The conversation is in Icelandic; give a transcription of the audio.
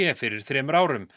fyrir þremur árum